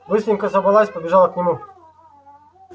быстренько собралась побежала к нему